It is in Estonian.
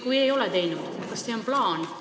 Kui me ei ole ettepanekuid teinud, siis kas see on plaanis?